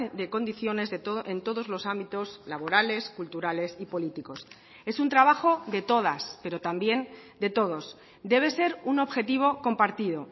de condiciones en todos los ámbitos laborales culturales y políticos es un trabajo de todas pero también de todos debe ser un objetivo compartido